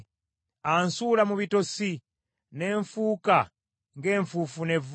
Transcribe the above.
Ansuula mu bitosi, ne nfuuka ng’enfuufu n’evvu.